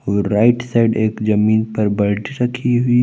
right side एक जमीन पर बाल्टी रखी हुई--